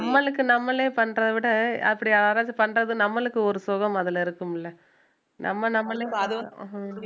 நம்மளுக்கு நம்மளே பண்றதை விட அப்படி யாராவது பண்றது நம்மளுக்கு ஒரு சுகம் அதுல இருக்கும்ல நம்ம நம்மளையும் பாது~ அஹ்